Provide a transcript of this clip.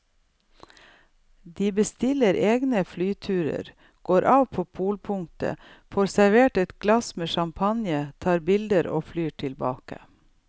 De bestiller egne flyturer, går av på polpunktet, får servert et glass med champagne, tar bilder og flyr tilbake.